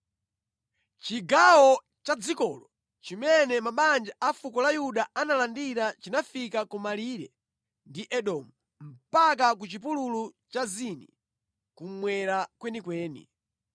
Chigawo cha dzikolo chimene mabanja a fuko la Yuda analandira chinafika ku malire ndi Edomu mpaka ku chipululu cha Zini kummwera kwenikweni.